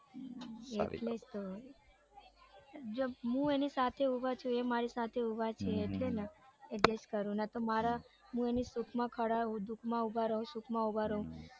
એટલે જ તો જેમ મુ એની સાથે ઉભા છું એ મારી સાથે ઉભા છે એટલે જ ને નકે મારા હું એની સુખમાં દુઃખમાં ખડા રૌ ઉભા રઉ સુખમાં ઉભા રઉ.